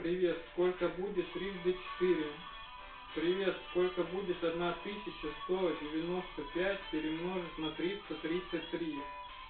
привет сколько будет трижды четыре привет сколько будет одна тысяча сто девяносто пять перемножить на триста тридцать три